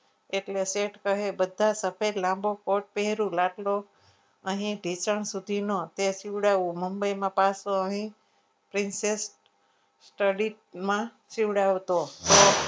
એટલે શેઠ કહે બધા સફેદ લાંબો coat પહેર્યું. અહીં ઢીંચણ સુધીનો સિવડાવ મુંબઈમાં પાછો અહીં princess studies માં સિવડાવતો હતો.